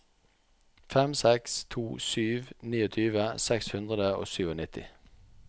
fem seks to sju tjueni seks hundre og nittisju